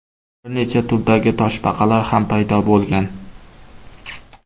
Bir necha turdagi toshbaqalar ham paydo bo‘lgan.